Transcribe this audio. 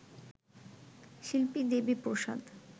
শিল্পী দেবীপ্রসাদ